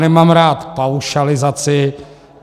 Nemám rád paušalizaci.